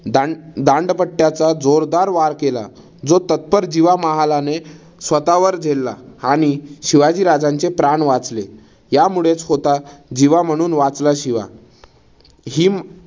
दांड दांडपट्ट्याचा जोरदार वार केला. जो तत्पर जिवा महालाने स्वतःवर झेलला आणि शिवाजीराजांचे प्राण वाचले. यामुळेच होता जिवा म्हणून वाचला शिवा हिम